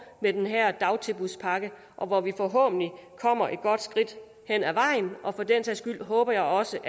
med den her dagtilbudspakke og hvor vi forhåbentlig kommer et godt skridt hen ad vejen og for den sags skyld håber jeg også